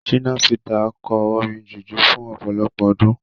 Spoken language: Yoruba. Ṣínà Pítà kọ orin jùjú fún ọ̀pọ̀lọpọ̀ ọdún.